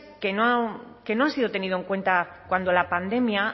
que no que no han sido tenido en cuenta cuando la pandemia